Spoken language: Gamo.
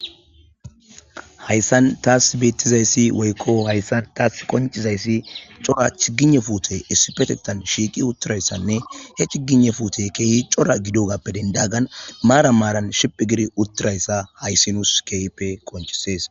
hayssan taas beettizayssi woykko hayssan taas qoncizayssi cora chigine fuute issipetetan shiiqi uttirayssanne he cigine fuute keehi cora gidogappe dendagan maara maaran shiphi giri uttirayssa hayssi nuus keehippe qonchisees